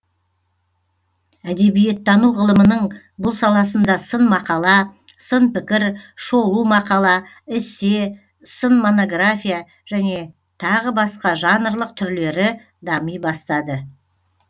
әдебиеттану ғылымының бұл саласында сын мақала сын пікір шолу мақала эссе сын монография және тағы басқа жанрлық түрлері дами бастады